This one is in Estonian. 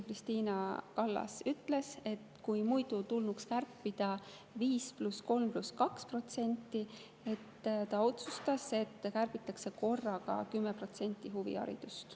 Krist`ina Kallas ütles, et muidu tulnuks kärpida 5% + 3% + 2%, aga ta otsustas, et huviharidusest kärbitakse korraga 10%.